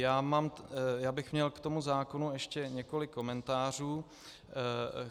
Já bych měl k tomu zákonu ještě několik komentářů.